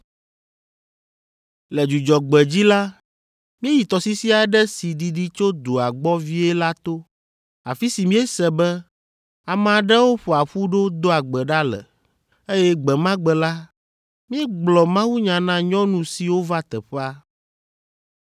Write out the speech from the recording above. Le Dzudzɔgbe dzi la, míeyi tɔsisi aɖe si didi tso dua gbɔ vie la to, afi si míese be ame aɖewo ƒoa ƒu ɖo doa gbe ɖa le, eye gbe ma gbe la, míegblɔ mawunya na nyɔnu siwo va teƒea.